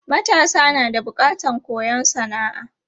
Matasa na da bukatan koyon sana'a.